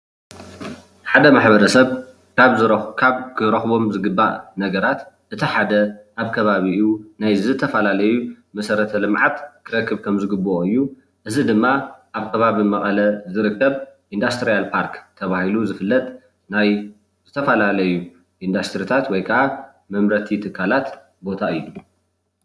ሓደ ማሕበረ ሰብ ካብ ክረክቦም ዝግባእ ነገራት እቲ ሓደ ኣብ ከባቢኡ ናይ ዝተፈላለዩ መሰረተ ልምዓት ክረክብ ከም ዝግበኦ እዩ፡፡ እዚ ድማ ኣብ ከባቢ መቐለ ዝርከብ ኢንዳስትሪያል ፖርክ ዝተባሃለ ናይ ዝተፈላለዩ ኢንዳስትሪታት ወይ ከዓ መመረቲ ትካላት ቦታ እዩ፡፡